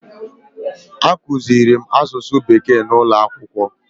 A kụziirim asụsụ bekee n'ụlọ akwụkwọ